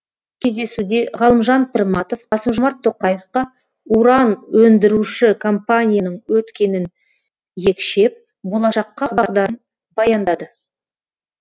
кездесуде ғалымжан пірматов қасым жомарт тоқаевқа уран өндіруші компанияның өткенін екшеп болашаққа бағдарын баяндады